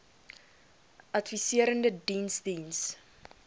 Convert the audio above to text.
adviserende diens diens